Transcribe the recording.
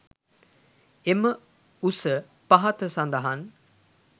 එම උස පහත සඳහන්